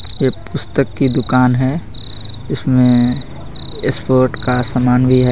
ये पुस्तक की दुकान हैं इसमें इस्पोर्ट का सामान भी हैं.